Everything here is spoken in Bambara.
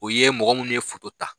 O ye mɔgɔ minnu ye ta.